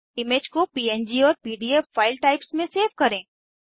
image को PNG और PDF file types में सेव करें